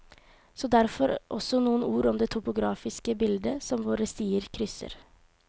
Så derfor også noen ord om det topografiske bildet som våre stier krysser.